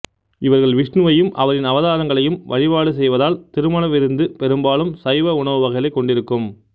இவர்கள் விஷ்ணுவையும் அவரின் அவதாரங்களையும் வழிபாடு செய்வதால் திருமண விருந்து பெரும்பாலும் சைவ உணவு வகைகளைக் கொண்டிருக்கும்